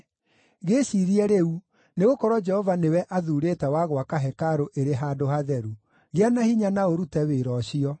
Gĩĩciirie rĩu, nĩgũkorwo Jehova nĩwe athuurĩte wa gwaka hekarũ ĩrĩ handũ hatheru. Gĩa na hinya na ũrute wĩra ũcio.”